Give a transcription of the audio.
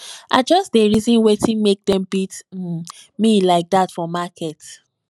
i just dey reason wetin make dem beat um me like dat for market